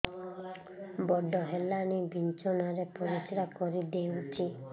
ବଡ଼ ହେଲାଣି ବିଛଣା ରେ ପରିସ୍ରା କରିଦେଉଛି